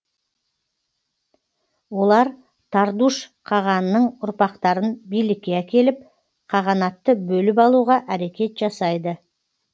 олар тардуш қағанның ұрпақтарын билікке әкеліп қағанатты бөліп алуға әрекет жасайды